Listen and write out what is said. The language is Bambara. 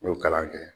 N y'o kalan kɛ